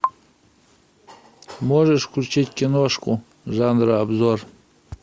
можешь включить киношку жанра обзор